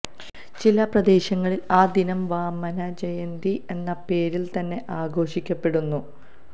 ചില പ്രദേശങ്ങളില് ആ ദിനം വാമനജയന്തി എന്ന പേരില്തന്നെ ആഘോഷിക്കപ്പെടുന്നു